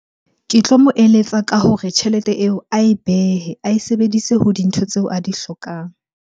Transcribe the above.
Ke tlo mo eletsa ka hore tjhelete eo ae behe, ae sebedise ho dintho tseo a di hlokang.